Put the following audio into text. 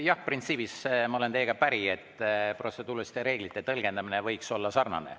Jah, printsiibis ma olen teiega päri, et protseduuriliste reeglite tõlgendamine võiks olla sarnane.